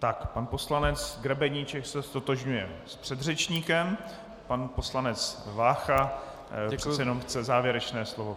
Tak, pan poslanec Grebeníček se ztotožňuje s předřečníkem, pan poslanec Vácha přece jenom chce závěrečné slovo.